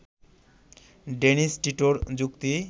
Dennis টিটোর যুক্তি